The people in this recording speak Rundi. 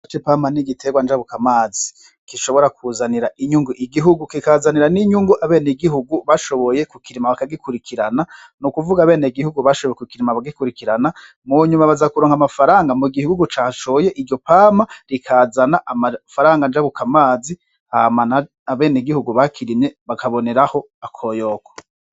Igiterwa c'Ipama n'igiterwa njabuka amazi gishobora kuzanira inyungu igihugu, kikazinira n'inyungu abenegihugu bashoboye kukurima bakagikurikirana n'ukuvuga abenegihugu bashoboye kukirima bakagikurikirana mu nyuma baza kuronka amafaranga mu gihugu cashoye iryo pama rikazana amafaranga ncabuka amazi Hama abenegihugu bakirimye bakaboneraho akoyoko .